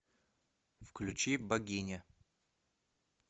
включи богиня